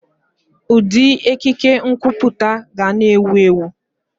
Ụdị ekike nkwuputa ga na-ewu ewu.